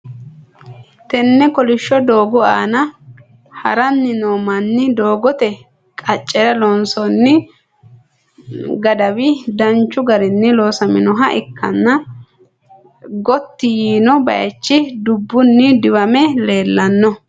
Tenne kolishsho doogo aana haranni no manni, doogote qaccera loonsoonni gadawi danchu garinni loosaminoha ikkanna gotti yiino baaychi dubbunni diwame leellanno.